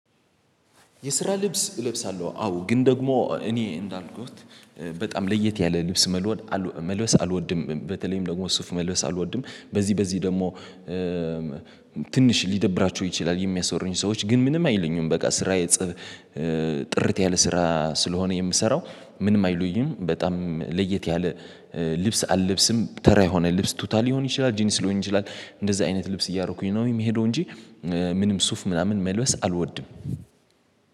የስራ ልብስ እለብሳለሁ አዎ ግን ደግሞ እኔ እንዳልኩት በጣም ለየት ያለ ልብስ መልበስ አልወድም በተለይም ደግሞ ሱፍ መልበስ አልወድም። በዚህ በዚህ ደግሞ ትንሽ ሊደብራቸው ይችላል የሚያስሩኝ ሰዎች ግን ምንም አይሉኝም በቃ። ስራ የጽብ ጥርት ያለ ስራ ስለሆነ የምሰራው ምንም አይሉኝም በጣም ለየት ያለ ልብስ አልብስም። ተራ የሆነ ልብስ ቱታ ሊሆን ይችላል ጂንስ ሊሆነ ይችላል እንደዚህ አይነት ልብስ እያረኩኝ ነው የሚሄደው እንጂ። ምንም ሱፍ ምናምን መልበስ አልወድም።